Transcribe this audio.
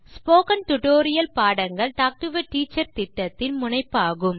spoken tutorial பாடங்கள் talk to a teacher திட்டத்தின் முனைப்பாகும்